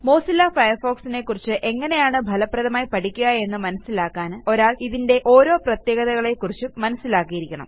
Mozilla Firefoxനെക്കുറിച്ച് എങ്ങനെയാണ് ഫലപ്രദമായി പഠിക്കുക എന്ന് മനസ്സിലാക്കാൻ ഒരാള് ഇതിന്റെ ഓരോ പ്രത്യേകതകളെക്കുറിച്ചും മനസ്സിലാക്കിയിരിക്കണം